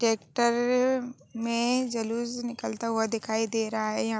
tractor में जलूस निकलता हुआ दिखाई दे रहा है यहाँ--